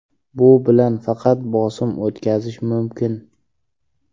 Bu bilan faqat bosim o‘tkazish mumkin.